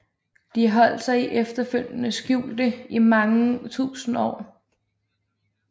De holdt sig efterfølgende skjulte i mange tusinde år